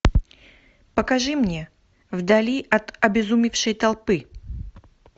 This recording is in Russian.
покажи мне вдали от обезумевшей толпы